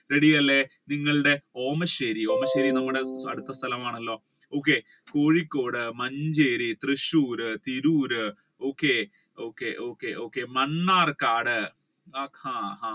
ready അല്ലെ നിങ്ങളുടെ അടുത്ത സ്ഥലം ആണല്ലോ Kozhikode Manjeri Thrissur Tirur okay okay okay okay Mannarkkad ആഹ്